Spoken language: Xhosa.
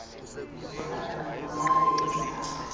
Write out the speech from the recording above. izihlahla namatye entaba